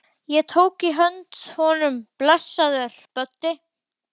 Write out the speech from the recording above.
Ég tók í hönd honum: Blessaður, Böddi